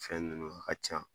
Fɛn nunnu ka ca